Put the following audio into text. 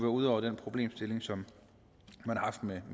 ude over den problemstilling som man har haft med